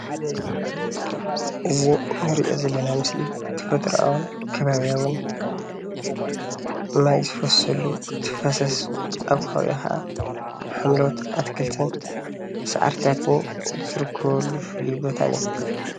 እዚ እንሪኦ ዘለና ምስሊ ተፈጥራኣውን ኸባብያውን ማይ ዝፈሰሉ ተፋሰስ ኣብ ኸባቢኡ ኸዓ ሓምሎዎት ኣትክልትን ሳዕርታትን ዝርከበሉ ፍሉይ ቦታ እዩ።